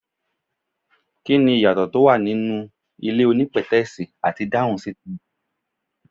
Kí ni ìyàtọ̀ tó wà nínú ilé onípètẹ́sì àti dáhún sìtià?